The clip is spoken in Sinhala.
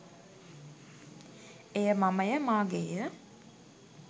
එය මමය, මාගේ ය,